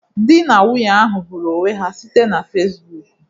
Dị na nwunye ahụ hụrụ onwe ha site na Fecibuuku.